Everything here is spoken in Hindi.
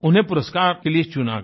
उन्हें पुरस्कार के लिए चुना गया